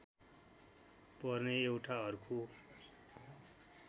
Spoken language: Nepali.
पर्ने एउटा अर्को